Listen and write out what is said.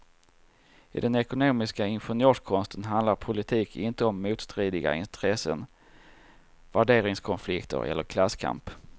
I den ekonomistiska ingenjörskonsten handlar politik inte om motstridiga intressen, värderingskonflikter eller klasskamp.